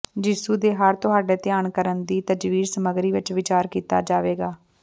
ਯਿਸੂ ਦੇ ਹਰ ਤੁਹਾਡੇ ਧਿਆਨ ਕਰਨ ਦੀ ਤਜਵੀਜ਼ ਸਮੱਗਰੀ ਵਿਚ ਵਿਚਾਰ ਕੀਤਾ ਜਾਵੇਗਾ